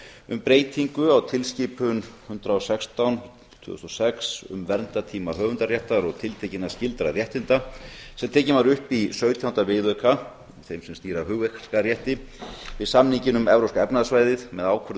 um breytingu á tilskipun hundrað og sextán tvö þúsund og sex um verndartíma höfundaréttar og tiltekinna skyldra réttinda sem tekin var upp í sautjánda viðauka þeim sem stýra hugverkarétti við samninginn um evrópska efnahagssvæðið með ákvörðun